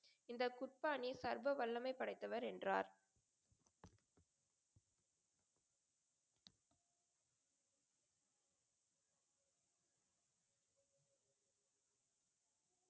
இந்த குர்பானின் சர்வ வல்லமை படைத்தவர் என்றார்.